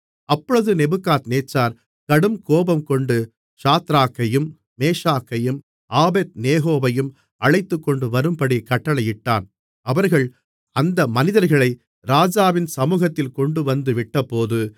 அப்பொழுது நேபுகாத்நேச்சார் கடுங்கோபங்கொண்டு சாத்ராக்கையும் மேஷாக்கையும் ஆபேத்நேகோவையும் அழைத்துக்கொண்டுவரும்படி கட்டளையிட்டான் அவர்கள் அந்த மனிதர்களை ராஜாவின் சமுகத்தில் கொண்டுவந்து விட்டபோது